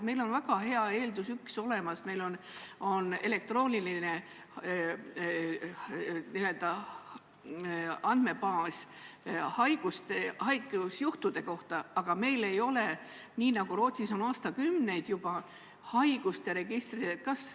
Meil on üks väga hea eeldus olemas, meil on elektrooniline andmebaas haigusjuhtude kohta, aga meil ei ole, nii nagu Rootsis on aastakümneid juba olnud, haiguste registreid.